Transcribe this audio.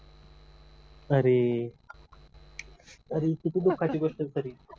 अरे अरे हि किती दुःखाची गोष्ट झाली